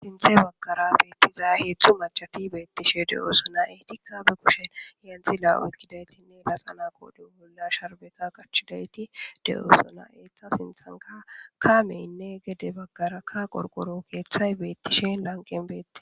Sinthe bagkara beettiza heetzdzu macati beettishe de'oosona eh dikkabe kushen yeenxi la'o ekkidaytinne laxana kooden bolla sharbeka qachidayti de'oosona eta sinthanka kameynne gede baggarakka qorqoro keeththay beettishen lanqen beette